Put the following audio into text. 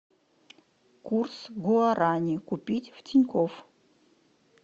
курс гуарани купить в тинькофф